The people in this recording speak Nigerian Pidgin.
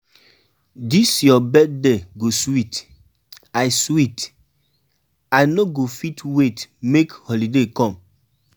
Dis your birthday go sweet, I sweet, I no go fit wait make holiday come.